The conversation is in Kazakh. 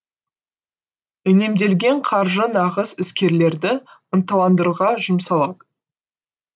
үнемделген қаржы нағыз іскерлерді ынталандыруға жұмсалған